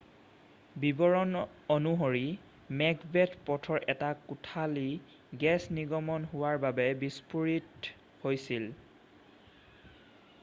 বিৱৰণ অনুসৰি মেকবেথ পথৰ এটা কোঠালী গেছ নিৰ্গমন হোৱা বাবে বিষ্ফোৰিত হৈছিল